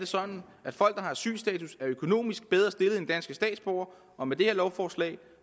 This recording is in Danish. sådan at folk der har asylstatus er økonomisk bedre stillet end danske statsborgere og med det her lovforslag